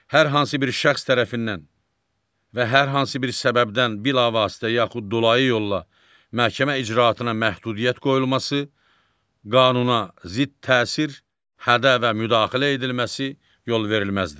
Hər hansı bir şəxs tərəfindən və hər hansı bir səbəbdən bilavasitə yaxud dolayı yolla məhkəmə icraatına məhdudiyyət qoyulması, qanuna zidd təsir, hədə və müdaxilə edilməsi yolverilməzdir.